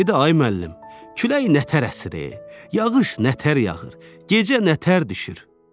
Dedi ay müəllim, külək nətər əsir, yağış nətər yağır, gecə nətər düşür?